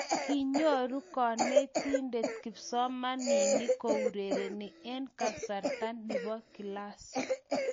Kinyoru konetinte kipsomaninik kourereni eng kasarta ne bo klas.